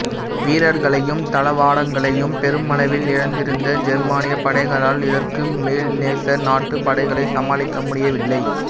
வீரர்களையும் தளவாடங்களையும் பெருமளவில் இழந்திருந்த ஜெர்மானியப் படைகளால் இதற்கு மேல் நேச நாட்டு படைகளைச் சமாளிக்க முடியவில்லை